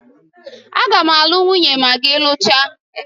A ga m alu nwunye ma gi luchaa